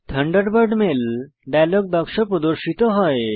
Thunderbird mail dialogue বাক্স প্রদর্শিত হয়